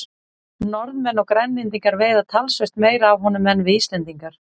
Norðmenn og Grænlendingar veiða talsvert meira af honum en við Íslendingar.